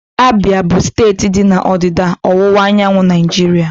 Abia bụ steeti dị na ndịda ọwụwa anyanwụ Naijiria.